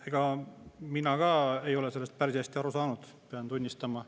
Ega mina ka ei ole sellest päris hästi aru saanud, pean tunnistama.